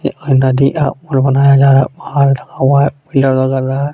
यह नदी है पुल बनाया जा रहा है लगा हुआ है पिलर रहा है.